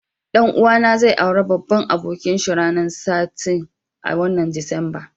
Dan uwa na zai aure babban abokin shi ranan sitin,a watan Disamba.